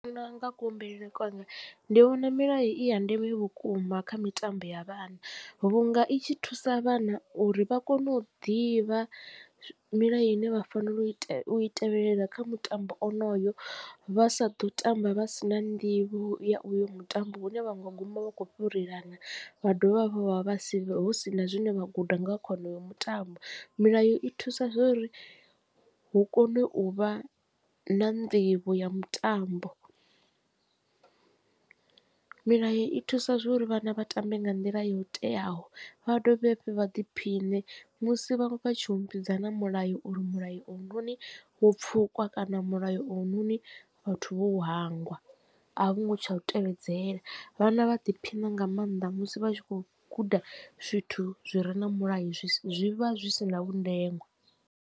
Nṋe ndi vhona u nga kuhumbulele kwanga ndi vhona milayo i ya ndeme vhukuma kha mitambo ya vhana vhunga i tshi thusa vhana uri vha kone u ḓivha milayo ine vha fanela u i tevhelela kha mutambo onoyo vha sa ḓo tamba vha si na nḓivho ya uyo mutambo hune vha nga guma vha kho fhurelana vha dovha hafhu vha vha si na zwine vha guda nga kha wonoyo mutambo milayo i thusa uri hu kone u vha na nḓivho ya mutambo. Milayo i thusa zwo uri vhana vha tambe nga nḓila yo teaho vha dovhe hafhu vha ḓiphine musi vha tshi humbudzana mulayo uri mulayo oyunoni wo pfukwa kana mulayo oyunoni vhathu vho u hangwa a vho ngo tsha u tevhedzela vhana vha ḓiphina nga maanḓa musi vha tshi khou guda zwithu zwi re na mulayo zwi vha zwi si na vhundenwa.